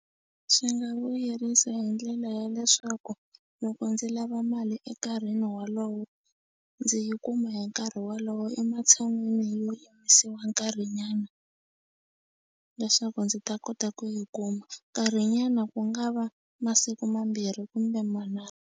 Swi nga vuyerisa hi ndlela ya leswaku loko ndzi lava mali enkarhini wolowo ndzi yi kuma hi nkarhi wolowo ematshan'wini yo yimisiwa nkarhinyana leswaku ndzi ta kota ku yi kuma nkarhinyana ku nga va masiku mambirhi kumbe manharhu.